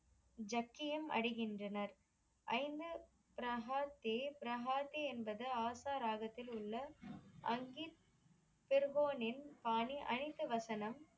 ஜக்கியம் அடைகின்றனர். ஐந்து ப்ரகாதேவ் ப்ரகாத்தே என்பது ஆத்தா ராகத்தில் உள்ள அங்கி பெருங்கோனின் பாணி அணிந்த வசனம்